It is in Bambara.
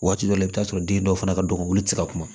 Waati dɔ la i bɛ t'a sɔrɔ den dɔw fana ka dɔgɔ wili tɛ se ka kuma